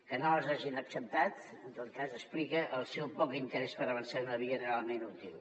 que no les hagin acceptat en tot cas explica el seu poc interès per avançar en una via realment útil